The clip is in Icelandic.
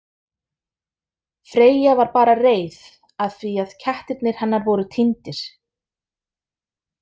Freyja var bara reið af því að kettirnir hennar voru týndir.